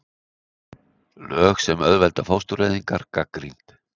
Lög sem auðvelda fóstureyðingar gagnrýnd